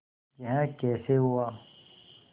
यह कैसे हुआ